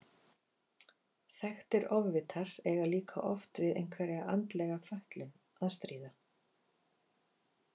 Þekktir ofvitar eiga líka oft við einhverja andlega fötlun að stríða.